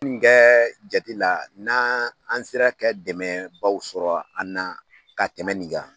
N kɛ jate la na an sera kɛ dɛmɛbaaw sɔrɔ an na ka tɛmɛn nin kan.